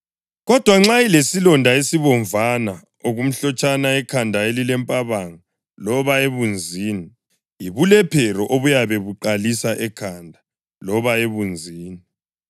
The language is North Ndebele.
Kodwa nxa ilesilonda esibomvana-okumhlotshana ekhanda elilempabanga loba ebunzini, yibulephero obuyabe buqalisa ekhanda loba ebunzini.